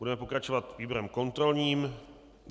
Budeme pokračovat výborem kontrolním.